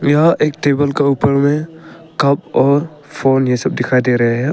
यह एक टेबल का ऊपर में कप और फोन यह सब दिखाई दे रहे हैं।